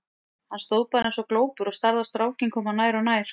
Hann stóð bara eins og glópur og starði á strákinn koma nær og nær.